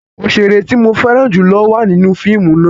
Oṣere ti mo fẹran julo wa ninu fiimu náa